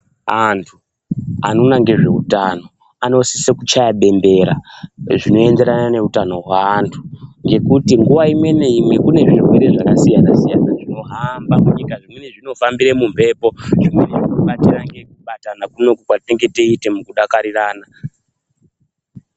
Antu anoona ngezveutano anosise kuchaya dendera zvinoenderana neutano hwaantu ngekuti nguva imwe neimwe kune zvirwere zvakasiyana-siyana zvinohamba kunyika, zvimweni zvinofambira mumhepo, zvimweni zvinofamba nekubatana kunoku kwatinenge toite mukudakarirana.